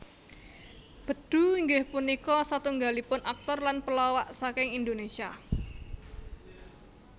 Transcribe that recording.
Bedu inggih punika satunggalipun aktor lan pelawak saking Indonesia